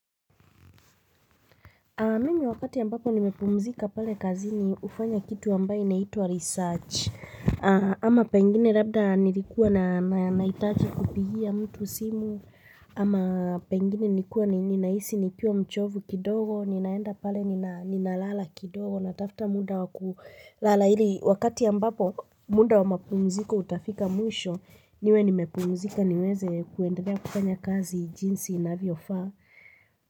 Mimi wakati mbapo nimepumzika pale kazini hufanya kitu ambayo inaitwa research. Ama pengine labda nilikuwa na nahitaji kupigia mtu simu. Ama pengine nilikuwa ninahisi nilikiwa mchovu kidogo. Ninaenda pale nina ninalala kidogo. Natafta muda wa kulala ili wakati ambapo muda wa mapumzika utafika mwisho. Niwe nimepumzika niweze kuendelea kufanya kazi jinsi inavyofaa.